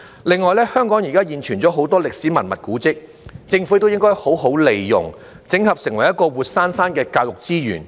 另外，香港現存很多歷史文物古蹟，政府應該好好利用，整合成為活生生的教育資源。